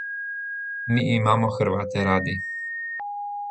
Mi imamo Hrvate radi.